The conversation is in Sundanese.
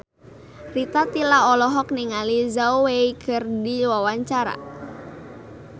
Rita Tila olohok ningali Zhao Wei keur diwawancara